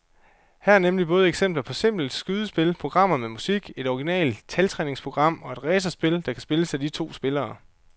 Her er nemlig både eksempler på simple skydespil, programmer med musik, et originalt taltræningsprogram og et racerspil, der kan spilles af to spillere.